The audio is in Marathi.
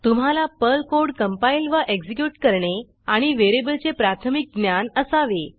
तुम्हाला पर्ल कोड कंपाईल व एक्झीक्यूट करणे आणि व्हेरिएबलचे प्राथमिक ज्ञान असावे